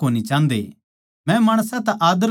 मै माणसां तै आदर कोनी चाहन्दा